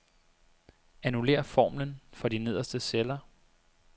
Annullér formlen for de nederste celler.